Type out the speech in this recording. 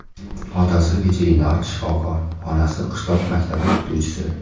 Otasi veterinar shifokor, onasi qishloq maktabi o‘qituvchisi.